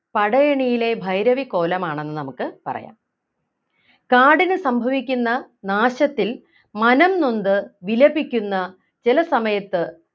പടയണിയിലെ ഭൈരവി കോലമാണെന്ന് നമുക്ക് പറയാം കാടിന് സംഭവിക്കുന്ന നാശത്തിൽ മനംനൊന്ത് വിലപിക്കുന്ന ചില സമയത്ത്